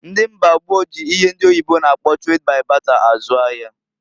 Ndị mgba gboo ji ihe ndi oyibo na-akpọ trade by barter azụ ahia.